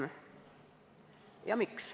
Miks?